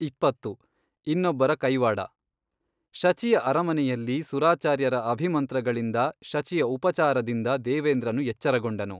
ಇಪ್ಪತ್ತು, ಇನ್ನೊಬ್ಬರ ಕೈವಾಡ ಶಚಿಯ ಅರಮನೆಯಲ್ಲಿ ಸುರಾಚಾರ್ಯರ ಅಭಿಮಂತ್ರಗಳಿಂದ ಶಚಿಯ ಉಪಚಾರದಿಂದ ದೇವೇಂದ್ರನು ಎಚ್ಚರಗೊಂಡನು.